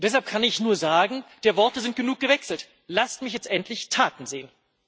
Deshalb kann ich nur sagen Der Worte sind genug gewechselt, lasst mich jetzt endlich Taten sehen!